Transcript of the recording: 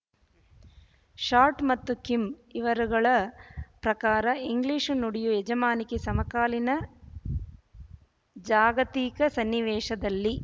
short ಮತ್ತು Kim ಇವರುಗಳ ಪ್ರಕಾರ ಇಂಗ್ಲೀಷು ನುಡಿಯು ಯಜಮಾನಿಕೆ ಸಮಕಾಲೀನ ಜಾಗತಿಕ ಸನ್ನಿವೇಶದಲ್ಲಿ